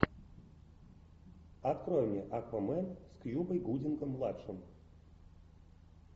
открой мне аквамен с кьюбой гудингом младшим